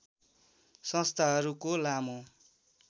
संस्थाहरूको लामो